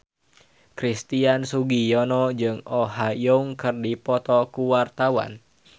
Christian Sugiono jeung Oh Ha Young keur dipoto ku wartawan